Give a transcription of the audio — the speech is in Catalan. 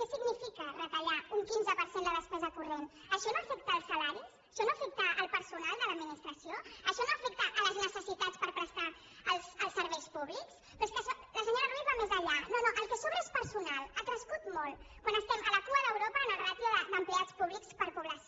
què significa retallar un quinze per cent la despesa corrent això no afecta els salaris això no afecta el personal de l’administració això no afecta les necessitats per prestar els serveis públics però és que la senyora ruiz va més enllà no no el que sobra és personal ha crescut molt quan estem a la cua d’europa en la ràtio d’empleats públics per població